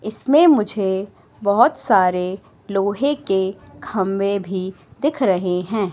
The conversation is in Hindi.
इसमें मुझे बहोत सारे लोहे के खंबे भी दिख रहे हैं।